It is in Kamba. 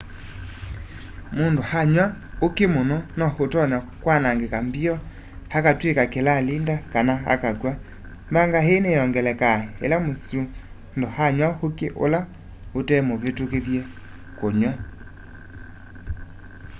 mundu anywa uki muno no utonya kwanangika mbio akatwika kilalinda kana akakwa.mbanga ii niyongelekaa ila msundu anya uki ula utemvitukithye kunyuwa